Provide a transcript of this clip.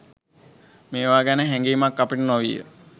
මේවා ගැන හැඟීමක් අපට නොවිය.